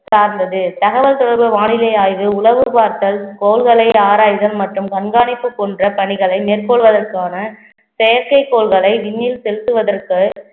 சார்ந்தது தகவல் தொடர்பு வானிலை ஆய்வு, உளவு பார்த்தல், கோள்களை ஆராய்தல் மற்றும் கண்காணிப்பு போன்ற பணிகளை மேற்கொள்வதற்கான செயற்கைக்கோள்களை விண்ணில் செலுத்துவதற்கு